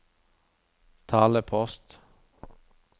talepost